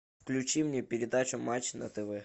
включи мне передачу матч на тв